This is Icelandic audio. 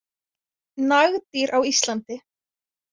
Nagdýr á Íslandi.